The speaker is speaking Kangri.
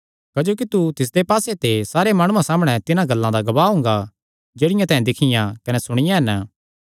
क्जोकि तू तिसदे पास्से ते सारे माणुआं सामणै तिन्हां गल्लां दा गवाह हुंगा जेह्ड़ियां तैं दिक्खियां कने सुणियां हन